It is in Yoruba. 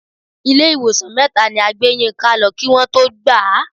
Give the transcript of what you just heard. Ilé ìwòsàn mẹ́ta ni a gbé Yínká lọ kí Wọ́n tó gbà á.